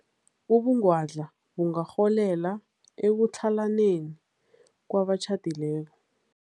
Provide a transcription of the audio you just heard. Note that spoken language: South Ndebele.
Ubungwadla bungarholela ekutlhalaneni kwabatjhadileko.